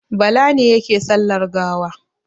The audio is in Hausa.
Bala ne yake sallar gawa.